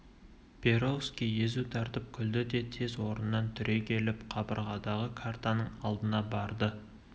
перовский езу тартып күлді де тез орнынан түрегеліп қабырғадағы картаның алдына барды